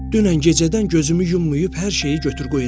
Dünən gecədən gözümü yummayıb hər şeyi götür-qoy eləmişəm.